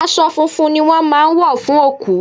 Aṣọ funfun ni wón máa ń wọ fún òkú.